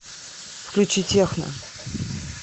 включи техно